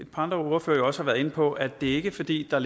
par andre ordførere også har været inde på konstatere at det ikke er fordi der